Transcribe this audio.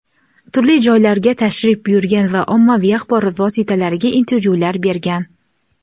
turli joylarga tashrif buyurgan va ommaviy axborot vositalariga intervyular bergan.